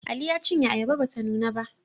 Ali ya cinye ayaba ba ta nuna ba